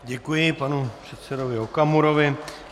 Děkuji panu předsedovi Okamurovi.